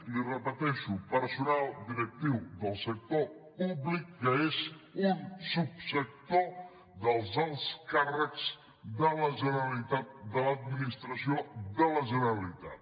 li ho repeteixo personal directiu del sector públic que és un subsector dels alts càrrecs de la generalitat de l’administració de la generalitat